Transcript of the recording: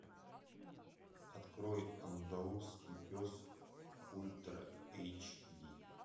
открой андалузский пес ультра эйч ди